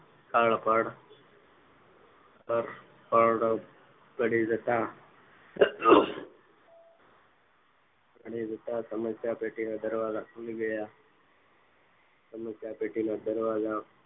સ્થળ પર સ્થળ પર પડી જતા પડી જતા સમસ્યા પેટીનો દરવાજા ખુલી ગયા સમસ્યા પેટી ના દરવાજા